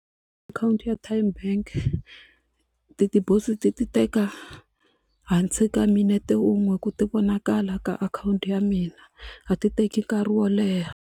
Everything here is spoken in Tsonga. Akhawunti ya TymeBank ti-deposit ti teka hansi ka minete unwe ku ti vonakala ka akhawunti ya mina a ti teki nkarhi wo leha.